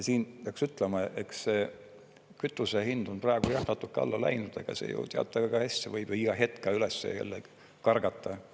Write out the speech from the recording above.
Siin peaks ütlema, et eks see kütuse hind on praegu natuke alla läinud, aga see ju, teate väga hästi, võib iga hetk üles jälle karata.